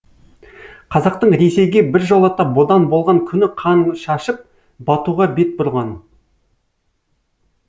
қазақтың ресейге біржолата бодан болған күні қан шашып батуға бет бұрған